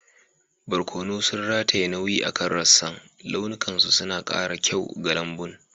Barkono sun rataye nauyi akan rassan, launukansu suna kara kyau ga lambun.